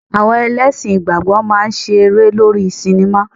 Àwọn ẹlẹ́sìn ìgbàgbọ́ máa ń ṣe eré lórí sinimá.